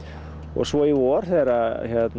svo í vor þegar